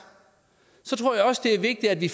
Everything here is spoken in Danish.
tror jeg også det er vigtigt at vi